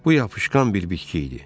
Bu yapışqan bir bitki idi.